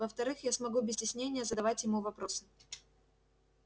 во-вторых я смогу без стеснения задавать ему вопросы